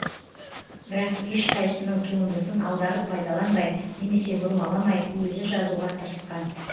бірақ ешқайсысының туындысын аударып пайдаланбай немесе бұрмаламай өзі жазуға тырысқан